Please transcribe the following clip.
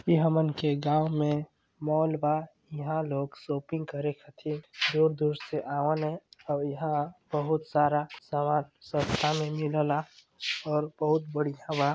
ई हमन के गाव में मॉल बा इहा लोग शॉपिंग करे खातिर दूर- दूर से आवन है और एहा बहुत सारा सामान सस्ता में मिलला और बहुत बढ़िया बा।